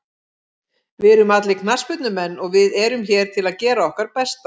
Við erum allir knattspyrnumenn og við erum hér til að gera okkar besta.